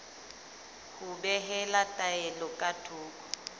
ho behela taelo ka thoko